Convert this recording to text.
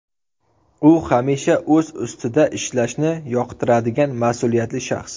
U hamisha o‘z ustida ishlashni yoqtiradigan mas’uliyatli shaxs.